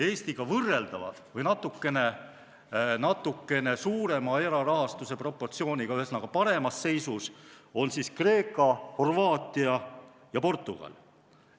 Eestiga võrreldavad või natukene suurema erarahastuse osakaaluga, ühesõnaga, paremas seisus on Kreeka, Horvaatia ja Portugal.